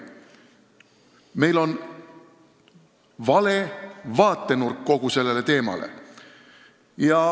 Meil on vale vaatenurk kogu sellele teemale.